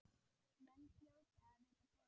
Menn hljóta að vita betur.